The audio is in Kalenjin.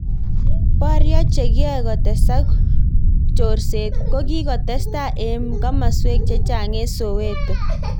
Poryo chekiyoe kotesak chorseet kokikotestai eng masweek chechamg eng Soweto